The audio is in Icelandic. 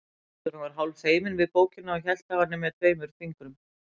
Bílstjórinn var hálf feiminn við bókina og hélt á henni með tveimur fingrum.